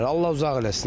Allah uzaq eləsin.